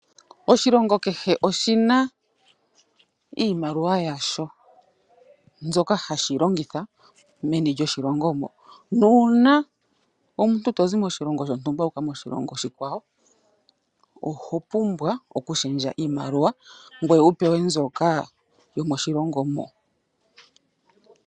Oshilongo kehe oshina iimaliwa yasho , mbyoka hashi longitha meni lyoshilongo. Nuuna omuntu tozi moshilongo shontumba wuuka moshilongo oshikwawo, oho pumbwa okushendja iimaliwa, ngoye wupewe mbyoka yomoshilongo moka.